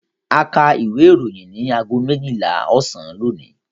A kà ìwé-ìròyìn ní ago méjìlá ọ̀sán lónìí.